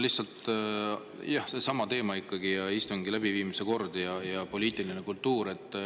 Lihtsalt, jah, seesama teema ikkagi: istungi läbiviimise kord ja poliitiline kultuur.